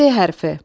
Ş hərfi.